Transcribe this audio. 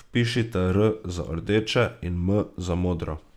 Vpišite R za rdeče in M za modro.